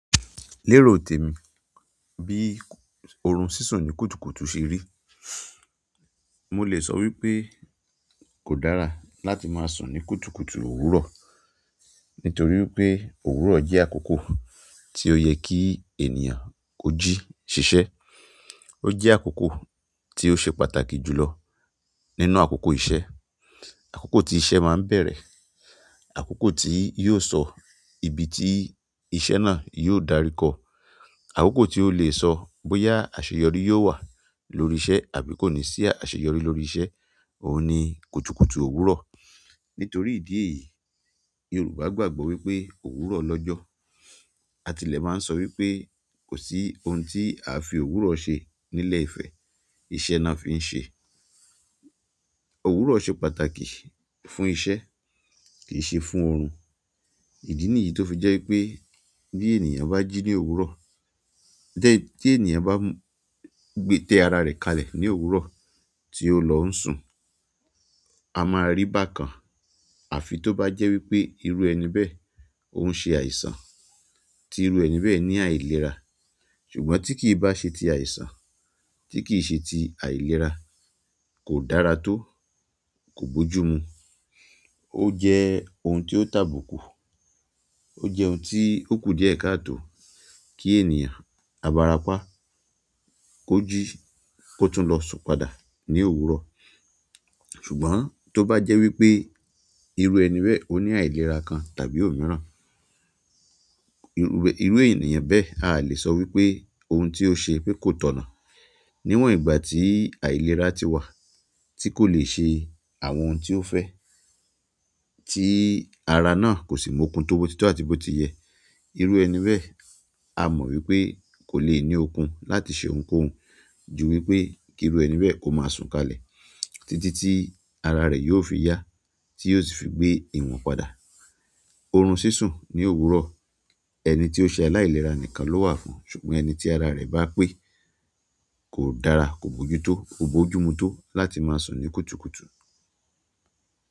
Lérò tèmi bí orun sísùn ni kùtùkùtù ṣe rí. Mo lè sọ wípé kò dára láti máa sùn ní kùtùkùtù òwúrọ̀ nítorí pé òwúrọ̀ jẹ́ àkókò tí ó ye kí ènìyàn ó jí ṣiṣẹ́. Ó jẹ́ àkókò tí ó ṣe pàtàkì jùlọ nínú àkókò iṣẹ́. Àkókò tí iṣẹ́ máa ń bẹ̀rẹ̀, àkókò tí yi o sọ ibi tí iṣẹ́ náà yóò darí kọ, àkókò tí ó lè sọ bóyá àṣeyọrí yóò wà lórí iṣẹ́ àbí kò ní sí àṣeyọrí lórí iṣẹ́ òun ni kùtùkùtù òwúrọ̀. Nítorí ìdí èyí Yorùbá gbàgbọ́ wípé òwúrọ̀ lọ́jọ́. Àtilẹ̀ máa ń sọ wípé kò sí ohun tí a fi òwúrọ̀ ṣe nílẹ̀ ìfẹ́, iṣẹ́ ni wan fi ń ṣe. Òwúrọ̀ ṣe pàtàkì fún iṣẹ́ kìí n ṣe fún oorun. Ìdí nìyí tó fi jẹ́ wipé bí ènìyàn bá jí ní òwúrọ̀, de tí ènìyàn bá gbé tẹ ara rẹ̀ kalẹ̀ ní òwúrọ̀ tí ó lọ́ ń sùn, a máa rí bákan àfi tó bá jẹ́ wípé irú ẹni bẹ́ẹ̀ ó n ṣe àìsàn tí irú ẹni bẹ́ẹ̀ ní àìlera. Ṣùgbọ́n tí kì í bá ṣe ti àìsàn, tí kì í ṣe ti àìlera, kò dára tó, kò bójúmu. Ó jẹ́ ohun tí ó tàbùkù. Ó jẹ́ ohun tí ó kù díẹ̀ káà tó kí ènìyàn abarapá kó jí kó tún lọ sùn padà ní òwúrọ̀. Ṣùgbọ́n tó bá jẹ́ wípé irú ẹni bẹ́ẹ̀ ó ní àìlera kan tàbí òmíràn, irú, irú ènìyàn bẹ́ẹ̀ a lè sọ wípé ohun tí ó ṣe pé kò tọ̀nà. Níwọ̀n ìgbà tí àìlera ti wà tí kò le ṣe àwọn ohun tí ó fẹ́ tí ara náà kò sì múkun tó bó títọ́ àti bó ti yẹ, irú ẹni bẹ́ẹ̀ a mọ̀ wípé kò le ní okun láti ṣe ohunkóhun ju wípé kí irú ẹni bẹ́ẹ̀ ó máa sùn kalẹ̀ títí tí ara rẹ̀ yóò fi yá tí yóò sì fi gbé ìwọ̀n padà. Orun sísùn ni òwúrọ̀ ẹni tí ó ṣe aláìlera nìkan ló wà fún, ṣùgbọ́n ẹni tí ara rẹ̀ bá pé kò dára, kò bójútó, kò bójúmu tó láti máa sùn ní kùtùkùtù.